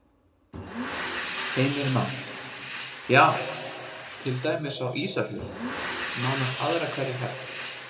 Heimir Már: Já, til dæmis á Ísafjörð nánast aðra hverja ferð?